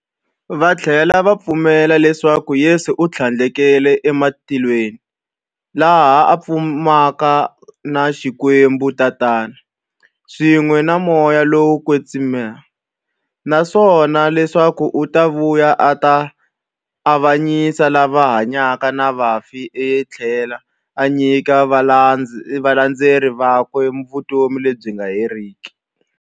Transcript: Vathlela va pfumela leswaku Yesu u thlandlukele e matilweni, laha a fumaka na Xikwembu-Tatana, swin'we na Moya lowo kwetsima, naswona leswaku u ta vuya a ta avanyisa lava hanyaka na vafi athlela a nyika valandzeri vakwe vutomi lebyi nga heriki.